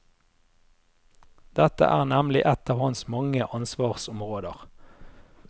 Dette er nemlig ett av hans mange ansvarsområder.